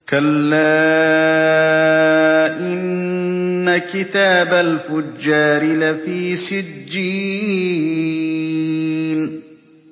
كَلَّا إِنَّ كِتَابَ الْفُجَّارِ لَفِي سِجِّينٍ